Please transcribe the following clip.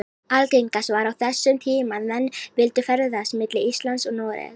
Algengast var á þessum tíma að menn vildu ferðast milli Íslands og Noregs.